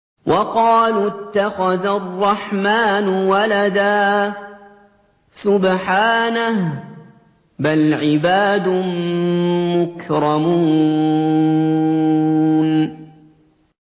وَقَالُوا اتَّخَذَ الرَّحْمَٰنُ وَلَدًا ۗ سُبْحَانَهُ ۚ بَلْ عِبَادٌ مُّكْرَمُونَ